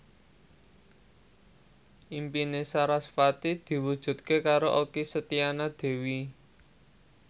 impine sarasvati diwujudke karo Okky Setiana Dewi